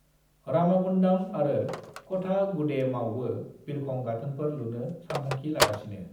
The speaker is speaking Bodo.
रामागुन्डाम आरो कठागुडेमावबो बिरखं गाथोनफोर लुनो सानथांखि लागासिनो।